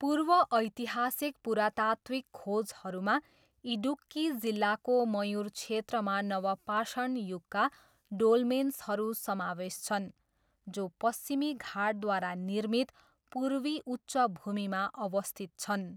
पूर्व ऐतिहासिक पुरातात्त्विक खोजहरूमा इडुक्की जिल्लाको मयुर क्षेत्रमा नवपाषाण युगका डोलमेन्सहरू समावेश छन्, जो पश्चिमी घाटद्वारा निर्मित पूर्वी उच्च भूमिमा अवस्थित छन्।